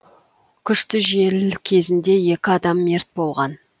күшті жел кезінде екі адам мерт болған